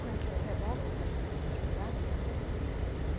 Com essa revólver ou com essa espingarda, não sei.